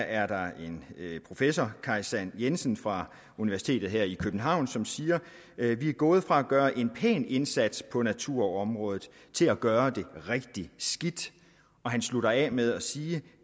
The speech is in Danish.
er der en professor kaj sand jensen fra universitetet her i københavn som siger vi er gået fra at gøre en pæn indsats på naturområdet til at gøre det rigtig skidt han slutter af med at sige